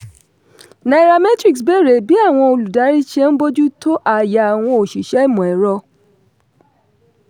nairametrics béèrè bí àwọn olùdarí ṣe n bójú tó ààyè àwọn oṣìṣẹ́ imọ̀-ẹ̀rọ.